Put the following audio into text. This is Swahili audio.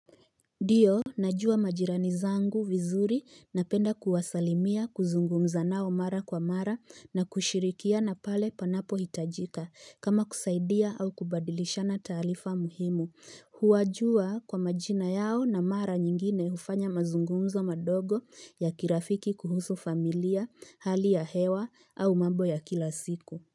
Ndiyo najua majirani zangu vizuri napenda kuwasalimia kuzungumza nao mara kwa mara na kushirikiana pale panapohitajika kama kusaidia au kubadilishana taarifa muhimu huwajua kwa majina yao na mara nyingine hufanya mazungumzo madogo ya kirafiki kuhusu familia hali ya hewa au mambo ya kila siku.